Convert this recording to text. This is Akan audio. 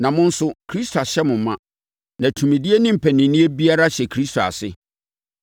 na mo nso Kristo ahyɛ mo ma, na tumidie ne mpaninnie biara hyɛ Kristo ase.